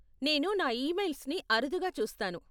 నేను నా ఈమెయిల్స్ని అరుదుగా చూస్తాను.